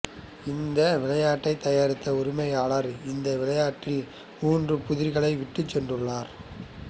இந்த விளையாட்டைத் தயாரித்த உரிமையாளர் இந்த விளையாட்டில் மூன்று புதிர்களை விட்டுச்சென்றுள்ளார்